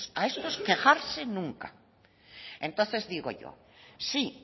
a estos quejarse nunca entonces digo yo si